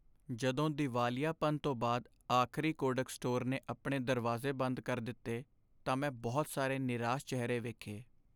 ਜਦੋਂ ਦੀਵਾਲੀਆਪਨ ਤੋਂ ਬਾਅਦ ਆਖ਼ਰੀ ਕੋਡਕ ਸਟੋਰ ਨੇ ਆਪਣੇ ਦਰਵਾਜ਼ੇ ਬੰਦ ਕਰ ਦਿੱਤੇ ਤਾਂ ਮੈਂ ਬਹੁਤ ਸਾਰੇ ਨਿਰਾਸ਼ ਚਿਹਰੇ ਵੇਖੇ।